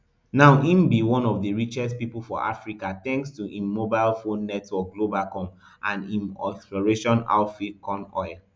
now im be one of di richest pipo for africa thanks to im mobile phone network globacom and im oil exploration outfit conoil